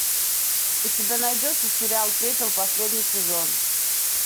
у тебя найдется сериал пепел последний сезон